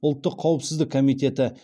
ұлттық қауіпсіздік комитеті